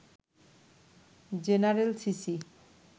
general CC